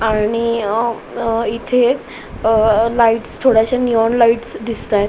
आणि अ इथे अ लाइटस थोड्याश्या नीऑन लाइटस दिसतायेत.